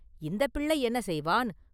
“இந்தப் பிள்ளை என்ன செய்வான்?